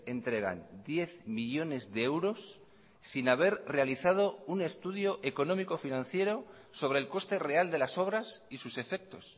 entregan diez millónes de euros sin haber realizado un estudio económico financiero sobre el coste real de las obras y sus efectos